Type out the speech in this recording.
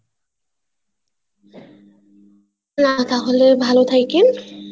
না তাহলে ভালো থেইকেন